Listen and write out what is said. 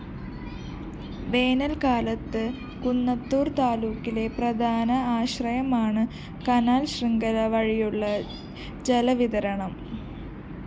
വേനല്‍ക്കാലത്ത് കുന്നത്തൂര്‍താലൂക്കിലെ പ്രധാന ആശ്രയമാണ് കാനൽ ശൃംഖല വഴിയുള്ള ജലവിതരണം